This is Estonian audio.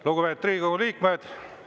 Lugupeetud Riigikogu liikmed!